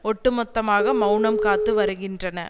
ஒட்டுமொத்தமாக மெளனம் காத்து வருகின்றன